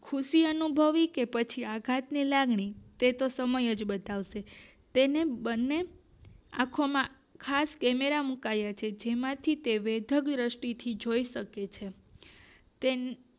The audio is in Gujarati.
ખુશી અનુભવવી કે પછી આઘાત ની લાગણી એ તો પછી સમય જ બતાવશે તેની બંને આખોમાં ખાસ કેમેરા મુકાયેલા છે જે તેમાંથી વિધુત દ્રષ્ટિ થી જોઈ શકે છે